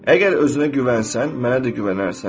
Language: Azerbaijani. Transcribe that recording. Əgər özünə güvənsən, mənə də güvənərsən.